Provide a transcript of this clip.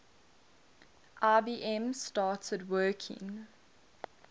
ibm started working